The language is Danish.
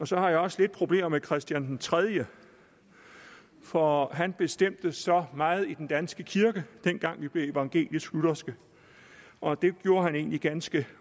så har jeg også lidt problemer med christian den tredje for han bestemte så meget i den danske kirke dengang vi blev evangelisk lutherske og det gjorde han egentlig ganske